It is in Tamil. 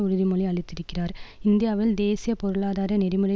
உறுதிமொழி அளித்திருக்கிறார் இந்தியாவில் தேசிய பொருளாதார நெறிமுறை